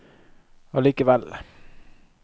allikevel